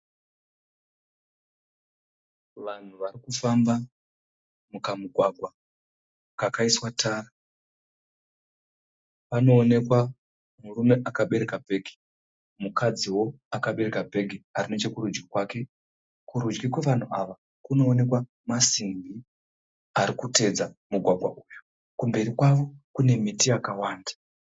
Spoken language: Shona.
Vanhu varikufamba mukamugwagwa kakaiswa tara. Panoonekwa murume akabereka bhegi mukadziwo akabereka bhegi ari nechekurudyi kwake. Kurudyi kwevanhu ava kunooneka masimbi ari kutevedza mugwagwa uyu. Kumberi kwavo kune miti yakawanda.